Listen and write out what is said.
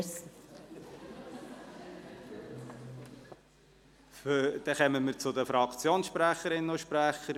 Wir kommen zu den Fraktionssprecherinnen und -sprechern.